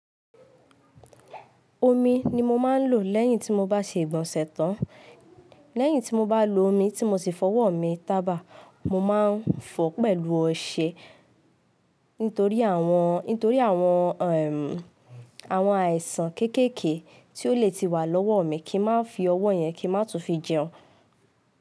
Omi ni mo máa ń lò lẹ́yìn tí mo bá ṣe ìgbọ̀nsẹ̀ tán. Lẹ́yìn tí mo bá lo omi tí mo ti fọ ọwọ́ mi tábà, mo máa ń fọ pẹ̀lú ọṣẹ nítorí àwọn, nítorí àwọn ẹm, àwọn àìsàn kéékèèké tí ó lè ti wà lọ́wọ́ mi kí n má fi ọwọ́ yẹn kí n má tún fi jẹun.